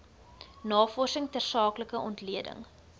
navorsing tersaaklike ontleding